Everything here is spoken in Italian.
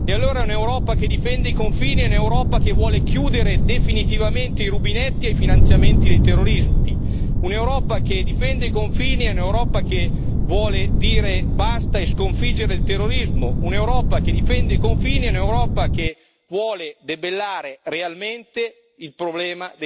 Allora, un'Europa che difende i confini è un'Europa che vuole chiudere definitivamente i rubinetti ai finanziamenti del terroristi, un'Europa che difende i confini è un'Europa che vuole dire basta e sconfiggere il terrorismo, un'Europa che difende i confini è un'Europa che vuole debellare realmente il problema